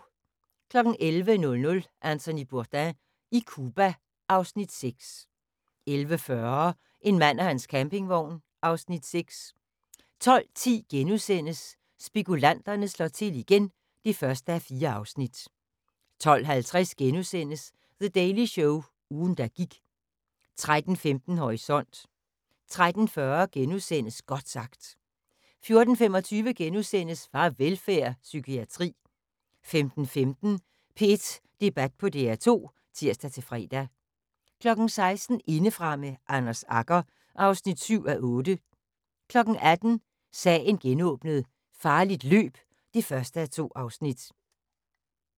11:00: Anthony Bourdain i Cuba (Afs. 6) 11:40: En mand og hans campingvogn (Afs. 6) 12:10: Spekulanterne slår til igen (1:4)* 12:50: The Daily Show – ugen der gik * 13:15: Horisont 13:40: Godt sagt * 14:25: Farvelfærd: Psykiatri * 15:15: P1 Debat på DR2 (tir-fre) 16:00: Indefra med Anders Agger (7:8) 18:00: Sagen genåbnet: Farligt løb (1:2)